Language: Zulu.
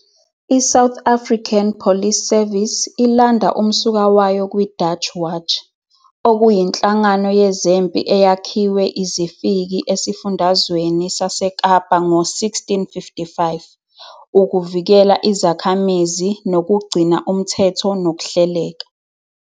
ISouth African Police Service ilanda umsuka wayo kwiDutch Watch, okuyinhlangano yezempi eyakhiwe izifiki esiFundazweni saseKapa ngo-1655 ukuvikela izakhamizi nokugcina umthetho nokuhleleka.